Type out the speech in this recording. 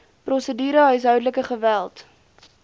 prosedure huishoudelike geweld